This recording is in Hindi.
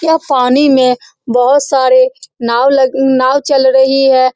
यह पानी में बहोत सारे नाव लग नाव चल रही है।